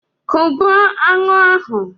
Kụgbuo aṅụ ahụ!